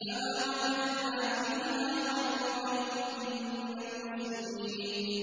فَمَا وَجَدْنَا فِيهَا غَيْرَ بَيْتٍ مِّنَ الْمُسْلِمِينَ